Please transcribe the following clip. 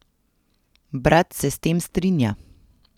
Brat se s tem strinja.